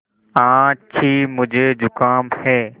आछि मुझे ज़ुकाम है